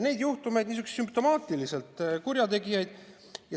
Neid juhtumeid, niisuguseid sümptomaatilisi, et on kurjategijad.